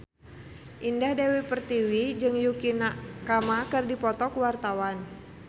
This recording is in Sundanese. Indah Dewi Pertiwi jeung Yukie Nakama keur dipoto ku wartawan